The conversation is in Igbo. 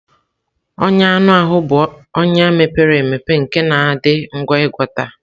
Ọnya anụ ahụ bụ ọnya mepere emepe nke na-adị ngwa ịgwọta.